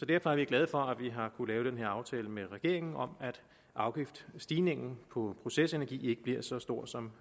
derfor er vi glade for at vi har kunnet lave denne aftale med regeringen om at afgiftsstigningen på procesenergi ikke bliver så stor som